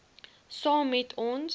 saam met ons